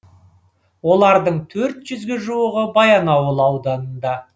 олардың төрт жүзге жуығы баянауыл ауданында